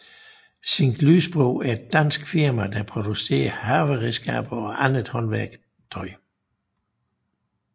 Zinck Lysbro er et dansk firma der producerer haveredskaber og andet håndværktøj